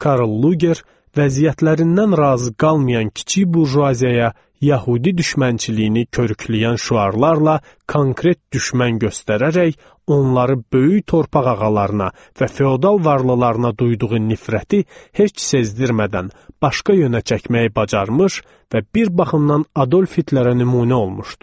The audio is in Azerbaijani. Karl Luger vəziyyətlərindən razı qalmayan kiçik burjuaziyaya yəhudi düşmənçiliyini körükləyən şüarlarla konkret düşmən göstərərək, onları böyük torpaq ağalarına və feodal varlılarına duyduğu nifrəti heç sezdirmədən başqa yönə çəkməyi bacarmış və bir baxımdan Adolf Hitlerə nümunə olmuşdu.